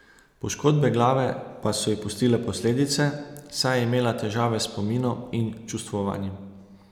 Poškodbe glave pa so ji pustile posledice, saj je imela težave s spominom in čustvovanjem.